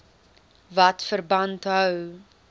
wat verband hou